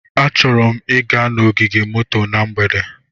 Achọrọ m ịga n'ogige moto na mgbede.